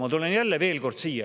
Ma tulen veel kord.